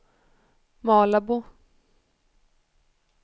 Malabo